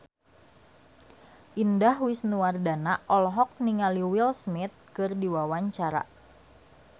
Indah Wisnuwardana olohok ningali Will Smith keur diwawancara